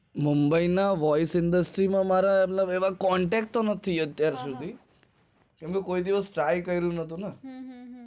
mumbai ના voice industry માં કોઈ contact નથી અત્યાર સુધી કોઈ દિવસ try કર્યું નથી ને